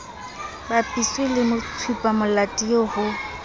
bapiswe le tshupamolato eo ho